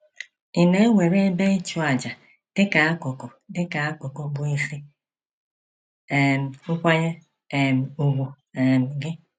Ị̀ na-ewere ebe ịchụàjà dị ka akụkụ dị ka akụkụ bụ́ isi um nkwanye um ùgwù um gị?